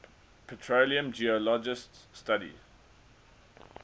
petroleum geologists study